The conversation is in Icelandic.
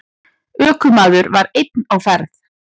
Ökumaður var einn á ferð.